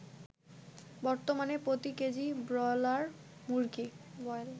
বর্তমানে প্রতি K G broiler মুরগী